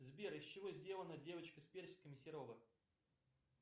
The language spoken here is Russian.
сбер из чего сделана девочка с персиками серова